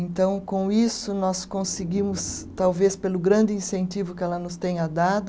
Então, com isso, nós conseguimos, talvez pelo grande incentivo que ela nos tenha dado,